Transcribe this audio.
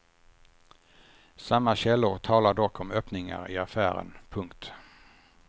Samma källor talar dock om öppningar i affären. punkt